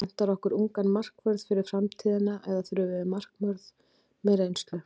Vantar okkur ungan markvörð fyrir framtíðina eða þurfum við markvörð með reynslu?